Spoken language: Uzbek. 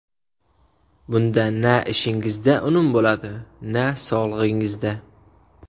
Bunda na ishingizda unum bo‘ladi, na sog‘lig‘ingizda.